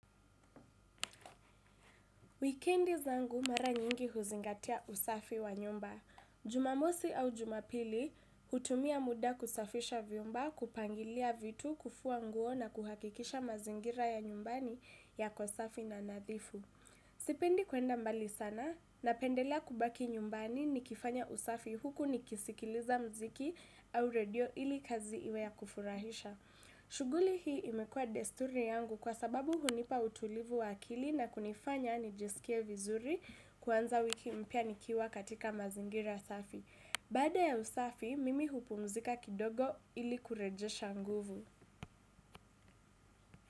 Wikendi zangu mara nyingi huzingatia usafi wa nyumba. Jumamosi au jumapili hutumia muda kusafisha vyumba kupangilia vitu kufua nguo na kuhakikisha mazingira ya nyumbani yako safi na nadhifu. Sipendi kwenda mbali sana napendelea kubaki nyumbani nikifanya usafi huku nikisikiliza mziki au redio ili kazi iwe ya kufurahisha. Shughuli hii imekua desturi yangu kwa sababu hunipa utulivu wa akili na kunifanya nijisikie vizuri kwanza wiki mpya nikiwa katika mazingira safi. Baada ya usafi, mimi hupumzika kidogo ili kurejesha nguvu.